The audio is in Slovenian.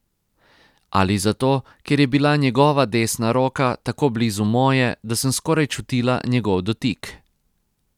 Ali zato, ker je bila njegova desna roka tako blizu moje, da sem skoraj čutila njegov dotik.